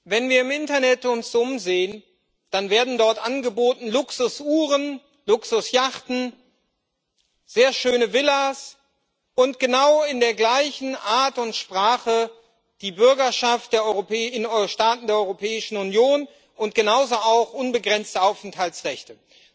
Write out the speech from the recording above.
Wenn wir uns im Internet umsehen, dann werden dort angeboten Luxusuhren, Luxusjachten, sehr schöne Villas und genau in der gleichen Art und Sprache die Bürgerschaft in Staaten der Europäischen Union und genauso auch unbegrenzte Aufenthaltsrechte.